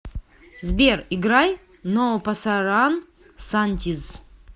сбер играй но пасаран сантиз